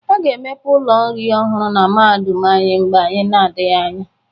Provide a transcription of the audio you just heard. A ga-emepe ụlọ nri ọhụrụ na mahadum anyị mgbe na-adaghị anya.